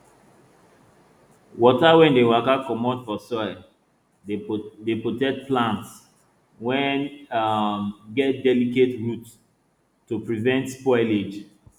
water wey dey waka comot from soil dey protect plants wey um get delicate roots to prevent spoilage